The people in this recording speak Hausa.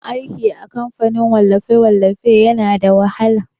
Aiki a kamfanin wallafe-wallafe yana da wahala.